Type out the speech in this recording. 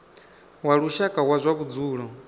wa lushaka wa zwa vhudzulo